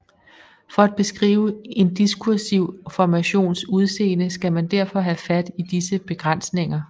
For at beskrive en diskursiv formations udseende skal man derfor have fat i disse begrænsninger